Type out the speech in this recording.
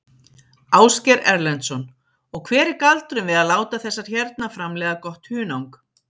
Ásgeir Erlendsson: Og hver er galdurinn við að láta þessar hérna framleiða gott hunang?